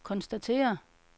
konstatere